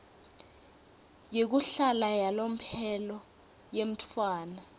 yekuhlala yalomphelo yemntfwana